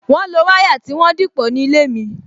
Wọn lo wire tí wọ́n dìpọ̀ ní ilé mi